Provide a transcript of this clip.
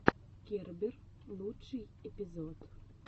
кербер лучший эпизод